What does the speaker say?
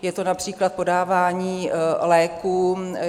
Je to například podávání léků.